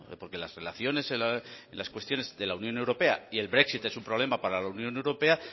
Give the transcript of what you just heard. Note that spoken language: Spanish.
porque las relaciones y las cuestiones de la unión europea y el brexit es un problema para la unión europea